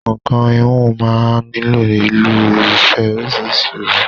Nǹkan híhun máa ń nílò ìlo irúfẹ́ oríṣìíríṣìí òwú.